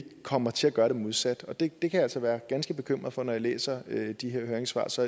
komme til at gøre det modsatte det kan jeg altså være ganske bekymret for når jeg læser de her høringssvar så